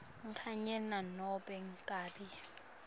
kanye nanobe ngabe